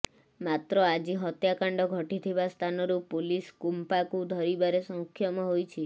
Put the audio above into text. ମାତ୍ର ଆଜି ହତ୍ୟାକାଣ୍ଡ ଘଟିଥିବା ସ୍ଥାନରୁ ପୋଲିସ କୁମ୍ପାକୁ ଧରିବାରେ ସକ୍ଷମ ହୋଇଛି